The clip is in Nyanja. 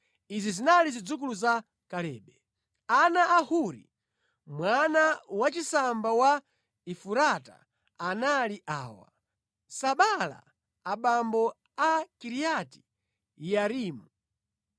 Izi zinali zidzukulu za Kalebe. Ana a Huri mwana wachisamba wa Efurata anali awa: Sobala abambo a Kiriati Yearimu,